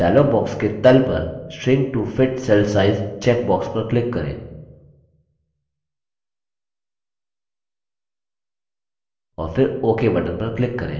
dialog box के तल पर shrink to fit cell size checkbox पर click करें और फिर ok button पर click करें